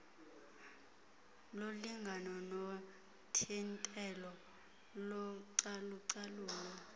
wolingano nothintelo localucalulo